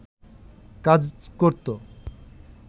কাজ করত